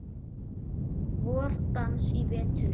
VorDans í vetur.